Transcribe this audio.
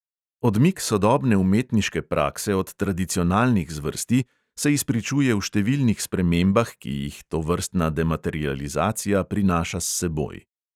Odmik sodobne umetniške prakse od tradicionalnih zvrsti se izpričuje v številnih spremembah, ki jih tovrstna dematerializacija prinaša s seboj.